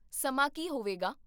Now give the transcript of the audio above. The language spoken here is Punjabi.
ਸਮਾਂ ਕੀ ਹੋਵੇਗਾ?